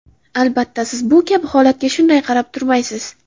Albatta, siz bu kabi holatga shunday qarab turmaysiz.